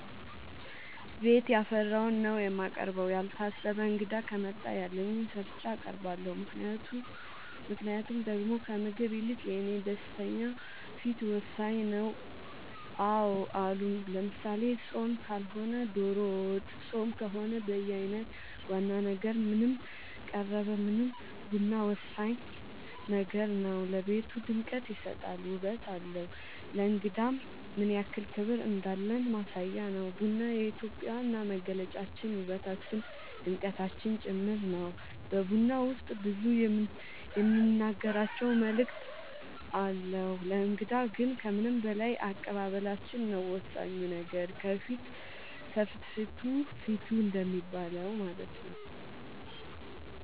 ቤት ያፈራውን ነው የማቀርበው ያልታሰበ እንግዳ ከመጣ ያለኝን ሰርቼ አቀርባለሁ ምክንያቱም ደሞ ከምግቡ ይልቅ የኔ ደስተኛ ፊት ወሳኝ ነው አዎ አሉ ለምሳሌ ፆም ካልሆነ ዶሮ ወጥ ፆም ከሆነ በየአይነት ዋና ነገር ምንም ቀረበ ምንም ቡና ወሳኝ ነገር ነው ለቤቱ ድምቀት ይሰጣል ውበት አለው ለእንግዳም ምንያክል ክብር እንዳለን ማሳያ ነው ቡና የኢትዮጵያ ዋና መገለጫችን ውበታችን ድምቀታችን ጭምር ነው በቡና ውስጥ ብዙ የምንናገራቸው መልዕክት አለው ለእንግዳ ግን ከምንም በላይ አቀባበላችን ነው ወሳኙ ነገር ከፍትፍቱ ፊቱ እንደሚባለው ማለት ነው